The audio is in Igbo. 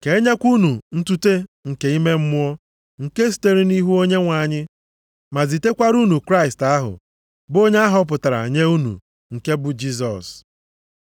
ka enyekwa unu ntute nke ime mmụọ nke sitere nʼihu Onyenwe anyị, ma zitekwara unu Kraịst ahụ, bụ onye ahọpụtara nye unu, nke bụ Jisọs.